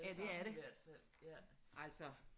Ja det er det altså